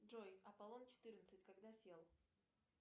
джой аполлон четырнадцать когда сел